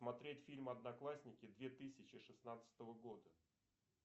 смотреть фильм одноклассники две тысячи шестнадцатого года